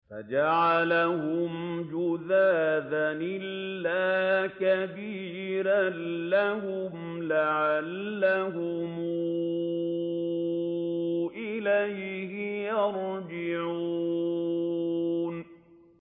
فَجَعَلَهُمْ جُذَاذًا إِلَّا كَبِيرًا لَّهُمْ لَعَلَّهُمْ إِلَيْهِ يَرْجِعُونَ